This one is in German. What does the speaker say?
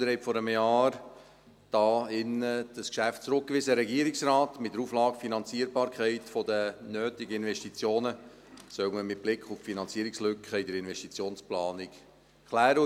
Sie haben dieses Geschäft hier in diesem Saal vor einem Jahr an den Regierungsrat zurückgewiesen, mit der Auflage, man solle die Finanzierbarkeit der nötigen Investitionen mit Blick auf die Finanzierungslücke in der Investitionsplanung klären.